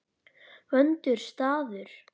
Vondur staður.